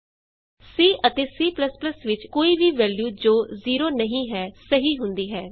C ਅਤੇ C ਵਿਚ ਕੋਈ ਵੀ ਵੈਲਯੂ ਜੋ 0 ਨਹੀਂ ਹੈ ਸਹੀ ਹੁੰਦੀ ਹੈ ਨੋਨ ਜ਼ੀਰੋ ਦਾ ਮਤਲਬ ਸਹੀ ਹੈ